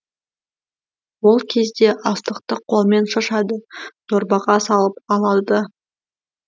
ол кезде астықты қолмен шашады дорбаға салып алады да